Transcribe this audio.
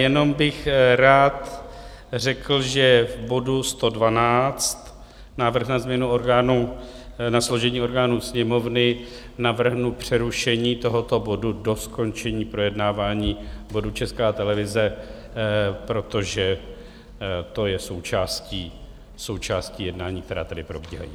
Jenom bych rád řekl, že v bodu 112, Návrh na změnu orgánů, na složení orgánů Sněmovny, navrhnu přerušení tohoto bodu do skončení projednávání bodu Česká televize, protože to je součástí jednání, která tedy probíhají.